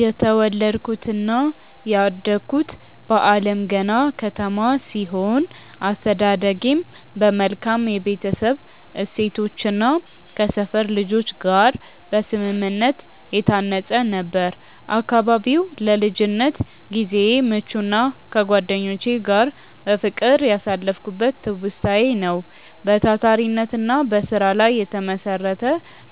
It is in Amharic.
የተወለድኩትና ያደግኩት በአለምገና ከተማ ሲሆን፣ አስተዳደጌም በመልካም የቤተሰብ እሴቶችና ከሰፈር ልጆች ጋር በስምምነት የታነጸ ነበር። አካባቢው ለልጅነት ጊዜዬ ምቹና ከጓደኞቼ ጋር በፍቅር ያሳለፍኩበት ትውስታዬ ነው። በታታሪነትና በስራ ላይ የተመሰረተ